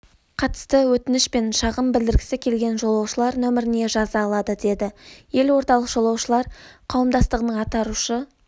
қатысты өтініш пен шағым білдіргісі келген жолаушылар нөміріне жаза алады деді елордалық жолаушылар қауымдастығының атарушы